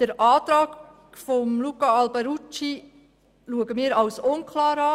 Den Antrag Alberucci erachten wir als unklar.